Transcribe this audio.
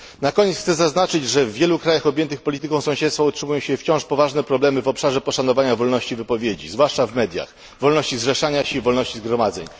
Na koniec chcę zaznaczyć, że w wielu krajach objętych polityką sąsiedztwa utrzymują się wciąż poważne problemy w obszarze poszanowania wolności wypowiedzi, zwłaszcza w mediach, wolności zrzeszania się i wolności zgromadzeń.